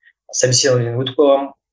собеседование өтіп қойғанмын